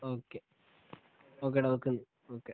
okay ഓക്കെടാ വെക്കുന്നു okay